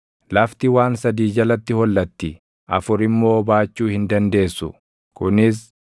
“Lafti waan sadii jalatti hollatti; afur immoo baachuu hin dandeessu; kunis: